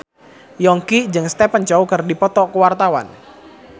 Yongki jeung Stephen Chow keur dipoto ku wartawan